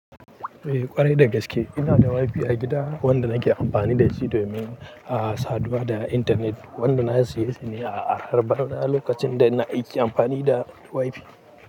Eh ƙwarai da gaske. Ina da Wi-Fi a gida wanda nake amfani da shi domin a saduwa da intanet. Wanda na siyi shi ne a harbar na lokacin da ina aiki amfani da Wi-Fi.